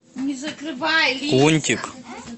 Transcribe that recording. лунтик